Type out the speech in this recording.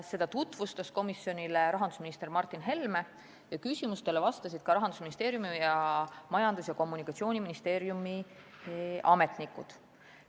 Seda tutvustas komisjonile rahandusminister Martin Helme ning küsimustele vastasid ka Rahandusministeeriumi ja Majandus- ja Kommunikatsiooniministeeriumi ametnikud.